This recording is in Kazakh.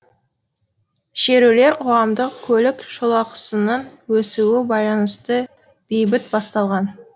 шерулер қоғамдық көлік жолақысының өсуі байланысты бейбіт басталған